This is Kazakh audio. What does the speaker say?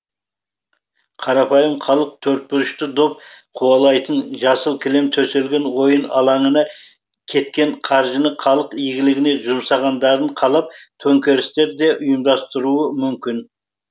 қарапайым халық төртбұрышты доп қуалайтын жасыл кілем төселген ойын алаңына кеткен қаржыны халық игілігіне жұмсағандарын қалап төңкерістер де ұйымдастыруы мүмкін